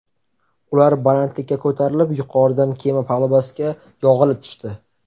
Ular balandlikka ko‘tarilib, yuqoridan kema palubasiga yog‘ilib tushdi.